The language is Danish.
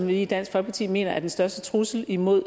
vi i dansk folkeparti mener er den største trussel imod